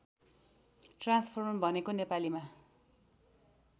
transformer भनेको नेपालीमा